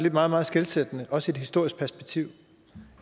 meget meget skelsættende også i et historisk perspektiv